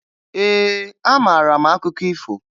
Ee, amara m akụkọ ifo